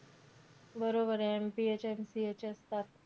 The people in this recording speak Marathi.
बरोबरे. MPH, NPH असतात.